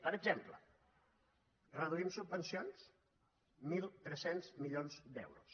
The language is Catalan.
per exemple reduïm subvencions mil tres cents milions d’euros